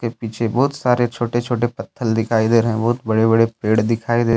पीछे बहुत सारे छोटे छोटे पत्थल दिखाई दे रहे हैं बहुत बड़े बड़े पेड़ दिखाई दे--